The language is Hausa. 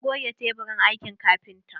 Na goge teburin aikin kafintan.